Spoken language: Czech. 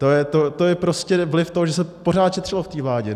To je prostě vliv toho, že se pořád šetřilo v té vládě.